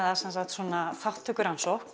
svona